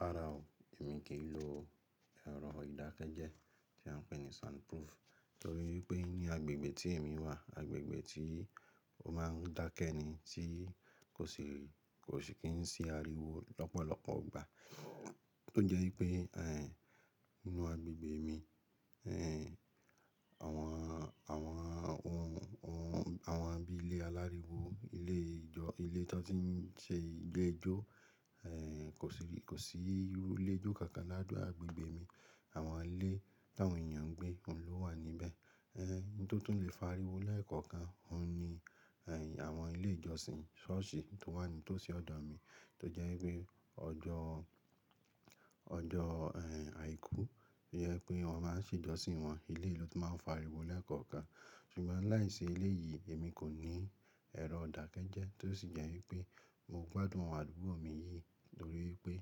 Rárá o, èmi kì í lo ẹ̀rọ ìdákẹ́jẹ́ tí a ń pè ní soundproof, torí wipé ní agbègbè tí èmi wà, agbègbè tí ó máa ń dákẹ́ ni, tí kò sì, kò sì kí n sí ariwo lọ́pọ̀lọpọ̀ gbà. Tó jẹ́ wípé, ẹ́, nínú agbègbè mi, ẹ́, àwọn, àwọn ohun, ohun, àwọn bí i ilé aláriwo, ilé ìjọ, ilé tó ti ń ṣe ìde jó, ẹ́, kò sì bi, kò sí iru ilé jó kankan ládùú agbègbè mi. Àwọn ilé tàwọn èèyàn ń gbé òun ló wà níbẹ̀. Ẹ́, ohun tó tún lè fa ariwo le kankan, òun ni, ẹ́, àwọn ilé ìjọsìn ṣọ́ọ̀ṣì tó wà ní tó sí ọ̀dọ̀ mi. Tó jẹ́ wípé ọjọ́, ọjọ́, ẹ́, àìkú, ó jẹ pé wọn máa ń ṣe ìjọsìn wọn. Iléyi ló tun máa ń fa ariwo le kankan. Ṣùgbọ́n láìsí ilé yìí, èmi kò ní ẹ̀rọ ìdákẹ́jẹ́ tó sì jẹ́ wípé mo gbádùn àdúgbò mi yìí lórí pé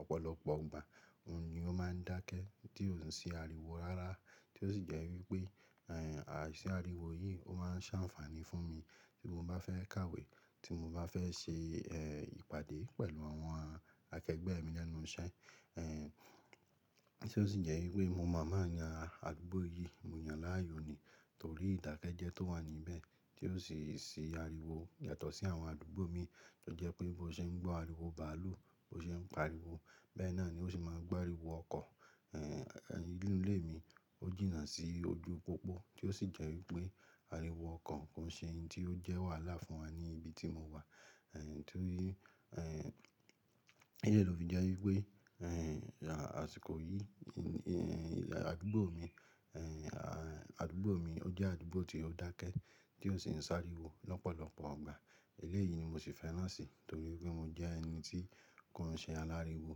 ọ̀pọ̀lọpọ̀ ìgbà òun ni ó máa ń dákẹ́ tí ò ń sí ariwo rárá. Tó sì jẹ́ wípé, ẹ́, àìsí ariwo yìí ó máa ń ṣàǹfààní fún mi tí mo bá fẹ́ kàwé, tí mo bá fẹ́ ṣe, ẹ́, ìpàdé pẹ̀lú àwọn akẹgbẹ́ mi lẹ́nu iṣẹ́. Ẹ́, tí ó sì jẹ́ wípé mo moo máa yan àdúgbò yìí, mo yàn láàyò ni, torí ìdákẹ́jẹ́ tó wà níbẹ̀ tí ó sì ṣí ariwo yàtọ̀ sí àwọn àdúgbò mi tó jẹ́ pé bó ṣe ń gbọ́ ariwo bàálù, bó ṣe ń pariwo. Bẹ́ẹ̀ náà ni ó sì máa gbá ariwo ọkọ̀, ẹ́, ẹ́, inú ilé mi ó jìnnà sí ojú pópó tí ó sì jẹ́ wípé ariwo ọkọ̀ kò ń ṣe ohun tí ó jẹ́ wàhálà fún wa ní ibi tí mo wà. Ẹ́, torí, ẹ́, eleyi ló fi jẹ́ wípé, ẹ́, àṣìkò yìí, ẹ́, àdúgbò mi, ẹ́, àdúgbò mi ó jẹ́ àdúgbò tí ó dákẹ́, tí ò sì ń sá ariwo lọ́pọ̀lọpọ̀ ìgbà. Ilé yìí ni mo sì fẹ́ràn sí torí pé mo jẹ́ ẹni tí kò ń ṣe aláriwo,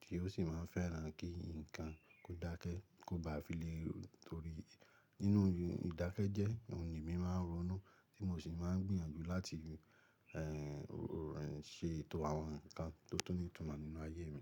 tí ó sì máa ń fẹ́ràn kí nǹkan kó dákẹ́, kó bá fi lè. Torí nínú ìdákẹ́jẹ́, òun ni èmi máa ń ronú tí mo sì máa ń gbìyànjú láti, ẹ́, ṣe ètò àwọn nǹkan tó tún ní ìtumọ̀ nínú ayé mi.